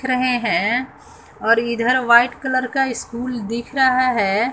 रहे हैं और इधर व्हाइट कलर का स्कूल दिख रहा है।